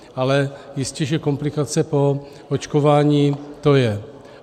Ale jistě že komplikace po očkování to je.